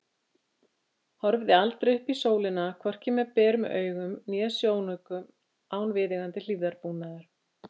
Horfið aldrei upp í sólina, hvorki með berum augum né sjónaukum, án viðeigandi hlífðarbúnaðar.